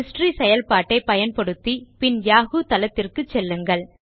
history செயல்பாட்டை பயன்படுத்தி பின் யாஹூ தளத்திற்கு செல்லுங்கள்